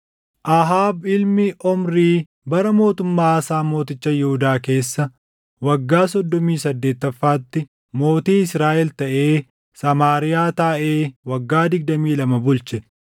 Ahaab ilmi Omrii bara mootummaa Aasaa mooticha Yihuudaa keessa waggaa soddomii saddeettaffaatti mootii Israaʼel taʼee Samaariyaa taaʼee waggaa digdamii lama bulche.